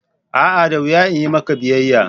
A'a! da wuya in yi maka biyayya.